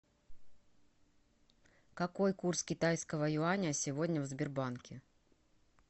какой курс китайского юаня сегодня в сбербанке